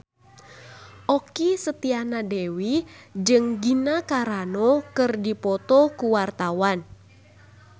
Okky Setiana Dewi jeung Gina Carano keur dipoto ku wartawan